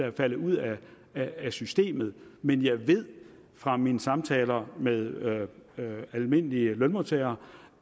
er faldet ud af af systemet men jeg ved fra mine samtaler med almindelige lønmodtagere